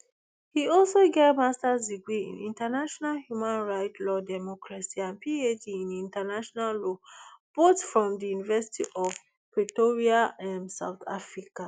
e also get masters degree in international human rights law democracy and phd in international law both from di university of pretoria um south africa